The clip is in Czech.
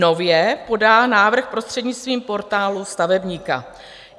Nově podá návrh prostřednictvím Portálu stavebníka.